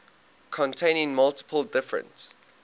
containing multiple different